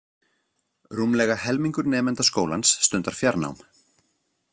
Rúmlega helmingur nemenda skólans stundar fjarnám.